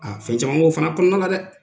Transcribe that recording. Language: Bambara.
A fɛn caman b'o fana kɔnɔna la dɛ!